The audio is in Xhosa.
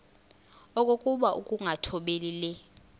okokuba ukungathobeli le